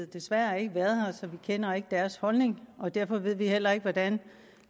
desværre ikke været her så vi kender ikke deres holdning og derfor ved vi heller ikke hvordan